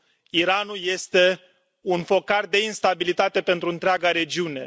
Iranul este un focar de instabilitate pentru întreaga regiune.